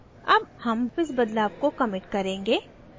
अब हम इस बदलाव को commit करेंगे